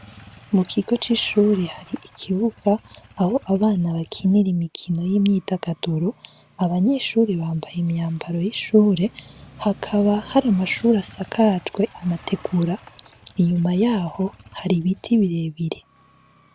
Mu kigo c'ishuri hari ikibuga aho abana bakinira imikino y'imyitagaduru, abanyeshuri bambaye imyambaro y'ishure, hakaba hari amashuri asakajwe amategura inyuma yaho hari ibiti birebire.